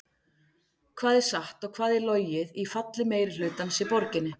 Hvað er satt og hvað er logið í falli meirihlutans í borginni?